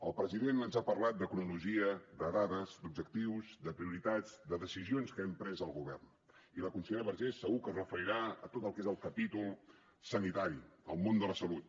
el president ens ha parlat de cronologia de dades d’objectius de prioritats de decisions que hem pres al govern i la consellera vergés segur que es referirà a tot el que és el capítol sanitari el món de la salut